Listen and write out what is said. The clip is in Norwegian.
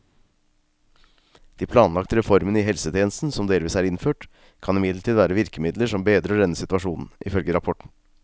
De planlagte reformene i helsetjenesten, som delvis er innført, kan imidlertid være virkemidler som bedrer denne situasjonen, ifølge rapporten.